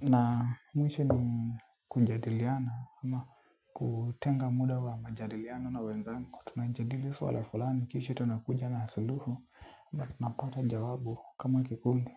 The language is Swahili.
Na mwisho ni kujadiliana ama kutenga muda wa majadiliano na wenzangu tunajadili suala fulani kisha tunakuja na suluhu na tunapata jawabu kama kikundi.